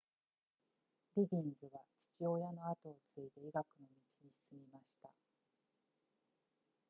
リギンズは父親の跡を継いで医学の道に進みました